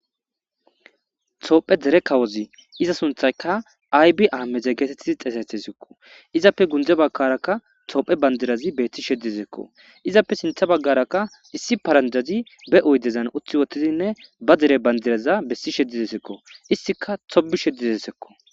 toophe dere kawozi iza sunthayka aybi aameze geetettidi xeesetesekko izappe gundze bagkaraka toophe bandirazi beetti sheddisekko izappe sintha baggarakka issi paranjazi be oydezan uthi wotidinne ba dere bandiraza bessishe desekko istika tobishe desekko